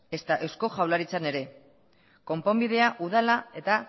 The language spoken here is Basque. ezta eusko jaurlaritzan ere konponbidea udala eta